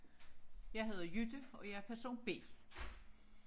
Jeg hedder Jytte og jeg er person B